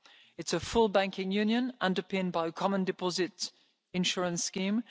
by that. It is a full banking union underpinned by a common deposit insurance